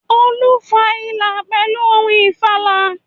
Olú fa ìlà pèlú ohun ìfàlà